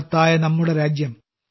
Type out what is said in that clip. മഹത്തായ നമ്മുടെ രാജ്യം